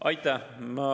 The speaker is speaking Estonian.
Aitäh!